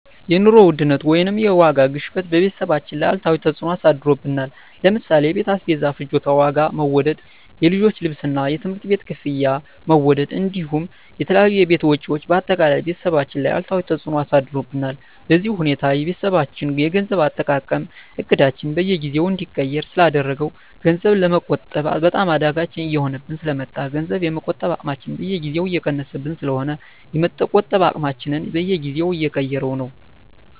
የኑሮ ውድነት ወይም የዋጋ ግሽበት በቤተሰባችን ላይ አሉታዊ ተፅዕኖ አሳድሮብናል ለምሳሌ የቤት አስቤዛ ፍጆታ ዋጋ መወደድ፣ የልጆች ልብስና የትምህርት ቤት ክፍያ መወደድ እንዲሁም የተለያዩ የቤት ወጪዎች በአጠቃላይ ቤተሰባችን ላይ አሉታዊ ተፅዕኖ አሳድሮብናል። በዚህ ሁኔታ የቤተሰባችን የገንዘብ አጠቃቀም እቅዳችንን በየጊዜው እንዲቀየር ስላደረገው ገንዘብ ለመቆጠብ በጣም አዳጋች እየሆነብን ስለ መጣ ገንዘብ የመቆጠብ አቅማችን በየጊዜው እየቀነሰብን ስለሆነ የመቆጠብ አቅማችንን በየጊዜው እየቀያየረው ነው።